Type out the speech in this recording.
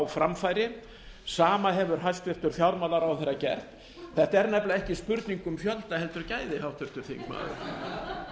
framfæri sama hefur hæstvirtur fjármálaráðherra gert þetta er nefnilega ekki spurning um fjölda heldur gæði háttvirtur